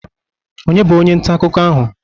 Onye bụ onye nta akụkọ ahụ?